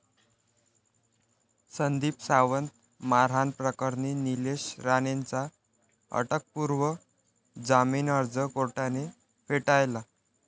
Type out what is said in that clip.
संदीप सावंत मारहाण प्रकरणी निलेश राणेंचा अटकपूर्व जामीन अर्ज कोर्टाने फेटाळला